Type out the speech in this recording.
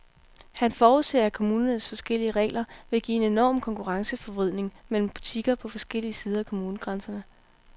Han forudser, at kommunernes forskellige regler vil give en enorm konkurrenceforvridning mellem butikker på forskellige sider af kommunegrænserne.